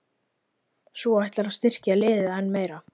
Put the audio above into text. Svo ætlarðu að styrkja liðið enn meira?